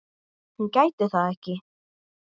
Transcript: Hún gæti það ekki.